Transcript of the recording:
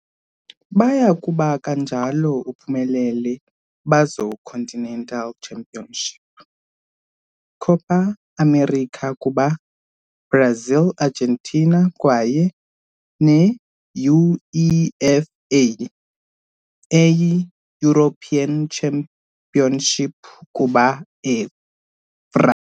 Baya kuba kanjalo uphumelele bazo continental championship Copa América kuba Brazil Argentina, kwaye UEFA European Championship kuba France.